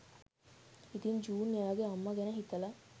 ඉතින් ජූන් එයාගෙ අම්මා ගැන හිතලා